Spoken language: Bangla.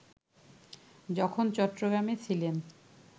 যখন চট্টগ্রামে ছিলেন